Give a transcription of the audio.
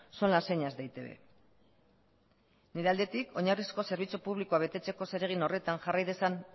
son las señas de e i te be nire aldetik oinarrizko zerbitzu publikoa betetzeko zeregin horretan jarrai dezan